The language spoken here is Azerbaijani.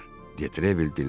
De Trevil dilləndi.